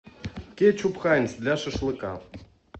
кетчуп хайнц для шашлыка